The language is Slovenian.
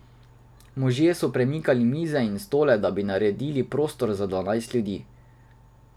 Možje so premikali mize in stole, da bi naredili prostor za dvanajst ljudi.